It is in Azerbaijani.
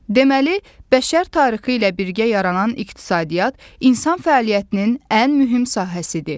Deməli, bəşər tarixi ilə birgə yaranan iqtisadiyyat insan fəaliyyətinin ən mühüm sahəsidir.